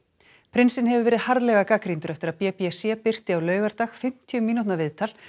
prinsinn hefur verið harðlega gagnrýndur eftir að b b c birti á laugardag fimmtíu mínútna viðtal